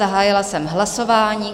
Zahájila jsem hlasování.